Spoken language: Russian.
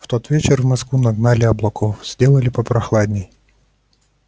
в тот вечер в москву нагнали облаков сделали попрохладней